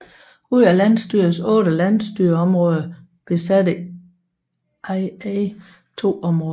Ud af landsstyrets otte landsstyreområder besatte IA to områder